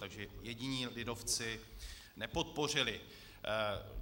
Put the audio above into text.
Takže jediní lidovci nepodpořili.